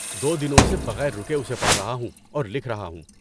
دو دنوں سے بغیر رکے اسے پڑھ رہا ہوں اور لکھ رہا ہوں۔